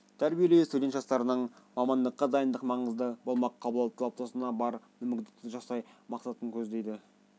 тәрбиелеу студент жастардың мамандыққа дайындық маңызы болмақ қалыптасуына бар мүмкіндікті жасау мақсатын көздейді